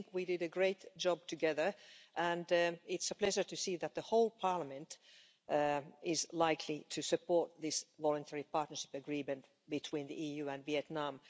We did a great job together, and it is a pleasure to see that the whole Parliament is likely to support this Voluntary Partnership Agreement between the EU and Vietnam.